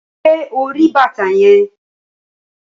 Ṣé ori bàtà yẹn?